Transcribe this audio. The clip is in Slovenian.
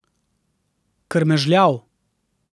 Krmežljav.